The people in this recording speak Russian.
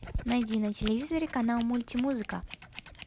найди на телевизоре канал мультимузыка